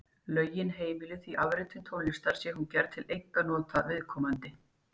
Lögin heimila því afritun tónlistar sé hún gerð til einkanota viðkomandi.